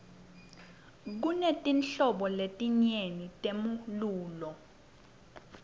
kunetinhlobo letinyeti temlulo